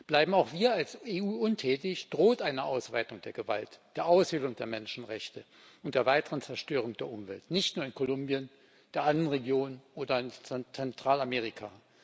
Bleiben auch wir als EU untätig, drohen eine Ausweitung der Gewalt, die Aushöhlung der Menschenrechte und die weitere Zerstörung der Umwelt, nicht nur in Kolumbien, der Andenregion oder in Zentralamerika.